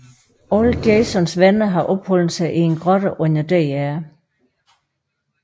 Alle Jasons venner har opholdt sig i en grotte under Dr